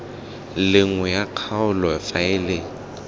le nngwe ya kgaolo faele